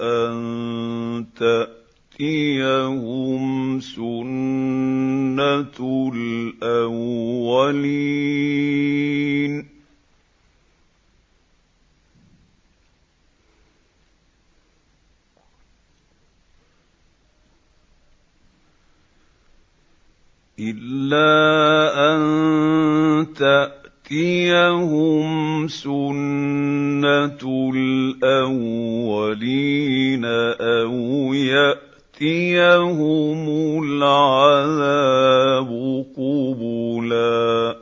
أَن تَأْتِيَهُمْ سُنَّةُ الْأَوَّلِينَ أَوْ يَأْتِيَهُمُ الْعَذَابُ قُبُلًا